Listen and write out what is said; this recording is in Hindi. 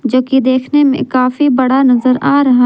जो की देखने में काफी बड़ा नजर आ रहा।